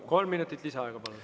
Kolm minutit lisaaega, palun.